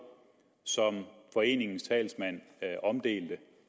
som foreningens talsmand omdeler